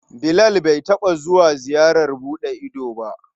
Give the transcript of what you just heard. Bilal bai taɓa zuwa ziyarar buɗe ido ba.